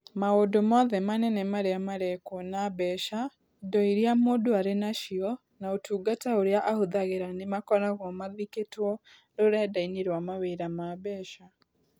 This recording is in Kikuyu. Maũndũ mothe manene marĩa marekwo na mbeca, indo iria mũndũ arĩ nacio, na ũtungata ũrĩa ahũthagĩra nĩ makoragwo mathikĩtwo rũrenda-inĩ rwa mawĩra ma mbeca.